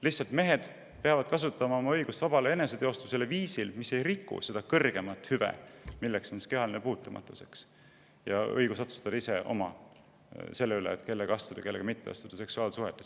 Lihtsalt mehed peavad kasutama oma õigust vabale eneseteostusele viisil, mis ei riku seda kõrgemat hüve, milleks on kehaline puutumatus ja õigus otsustada ise, kellega astuda seksuaalsuhetesse ja kellega mitte.